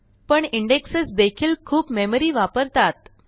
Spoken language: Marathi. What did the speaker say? पणindexes देखील खूप मेमरी वापरतात